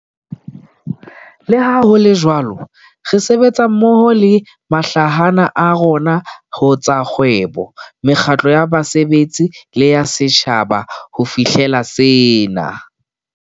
Le ha ho le jwalo, re sebetsa mmoho le mahlahana a rona ho tsa kgwebo, mekgatlo ya basebetsi le ya setjhaba ho fihlela sena.